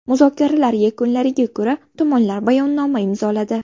Muzokaralar yakunlariga ko‘ra tomonlar bayonnoma imzoladi.